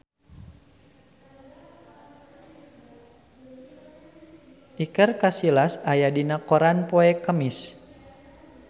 Iker Casillas aya dina koran poe Kemis